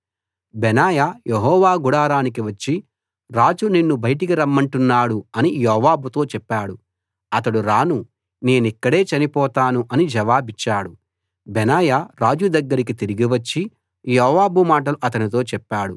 బెనాయా యెహోవా గుడారానికి వచ్చి రాజు నిన్ను బయటికి రమ్మంటున్నాడు అని యోవాబుతో చెప్పాడు అతడు రాను నేనిక్కడే చనిపోతాను అని జవాబిచ్చాడు బెనాయా రాజు దగ్గరకి తిరిగి వచ్చి యోవాబు మాటలు అతనితో చెప్పాడు